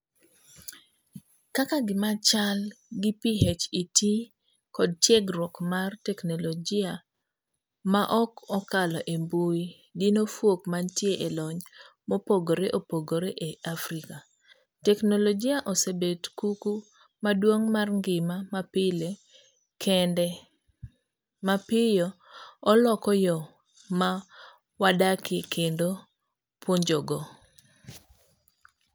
Kaka gimachal gi PhET kod tiegruok mar teknologia maok okalo e mbui dino fuok mantie e lony mopogre opogre e Africa . Teknologia osebet kuku maduong'mar ngima mapile kende mapiyo oloko yoo ma wadakie kendo puonjogo.